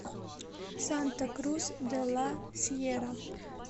санта крус де ла сьерра